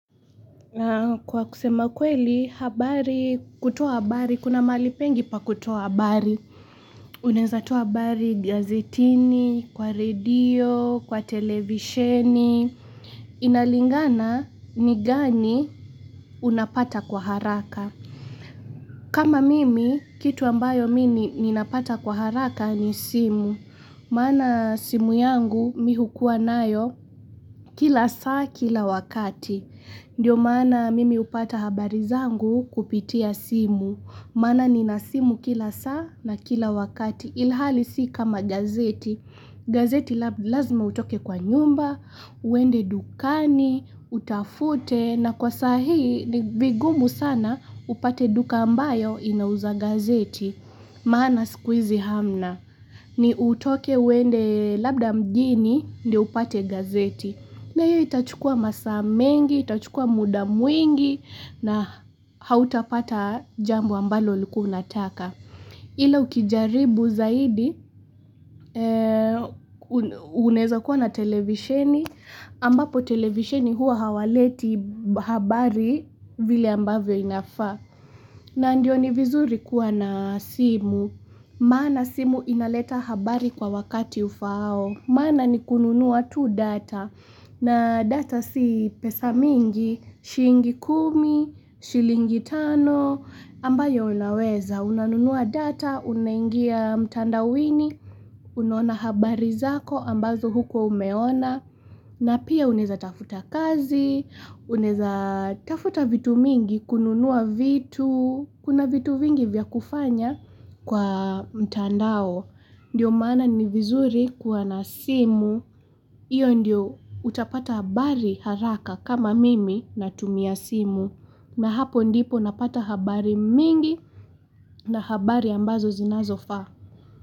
Kwa kusema ukweli, habari, kutowa habari, kuna malipengi pa kutowa habari. Uneza toa habari gazetini, kwa redio, kwa televisheni. Inalingana ni gani unapata kwa haraka. Kama mimi, kitu ambayo mini ninapata kwa haraka ni simu. Mana simu yangu mihukua nayo kila saa kila wakati. Ndiyo mana mimi upata habari zangu kupitia simu, mana nina simu kila saa na kila wakati. Ilhali si kama gazeti. Gazeti lazima utoke kwa nyumba, uende dukani, utafute na kwa sahi vigumu sana upate duka ambayo inauza gazeti. Maana sikuizi hamna. Ni utoke uende labda mjini ndo upate gazeti. Na hiyo itachukua masaa mengi, itachukua muda mwingi na hautapata jambo ambalo ulikuunataka. Ila ukijaribu zaidi, uneza kuwa na televisheni, ambapo televisheni huwa hawaleti habari vile ambavyo inafaa. Na ndio ni vizuri kuwa na simu, maana simu inaleta habari kwa wakati ufao, maana ni kununua tu data na data si pesa mingi, shingi kumi, shilingi tano, ambayo unaweza Unanunua data, unangia mtanda wini, unaona habari zako ambazo huko umeona na pia uneza tafuta kazi, uneza tafuta vitu mingi, kununua vitu, kuna vitu vingi vya kufanya kwa mtandao. Ndiyo maana ni vizuri kuwa na simu, iyo ndiyo utapata habari haraka kama mimi na tumia simu. Na hapo ndipo napata habari mingi na habari ambazo zinazofa.